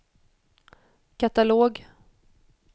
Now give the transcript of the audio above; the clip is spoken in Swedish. katalog